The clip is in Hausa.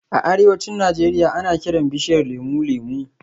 A arewacin Najeriya, ana kiran bishiyar lemu "Lemu"